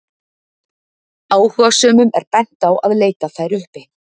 áhugasömum er bent á að leita þær uppi